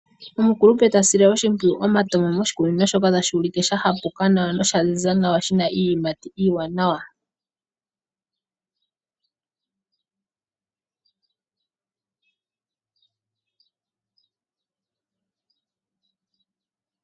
Omukulupe ta sile oshimpwiyu omatama moshikunino shoka tashi ulike sha hapuka nawa nosha ziza nawa, shina iiyimati iiwanawa.